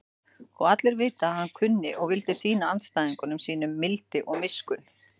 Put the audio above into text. Og allir vita að hann kunni og vildi sýna andstæðingum sínum mildi og miskunn.